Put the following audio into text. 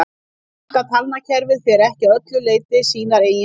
Danska talnakerfið fer ekki að öllu leyti sínar eigin leiðir.